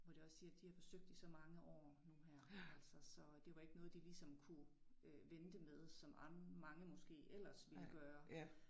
Hvor de også siger de har forsøgt i så mange år nu her altså så det var ikke noget de liegsom kunne øh vente med som mange måske ellers ville gøre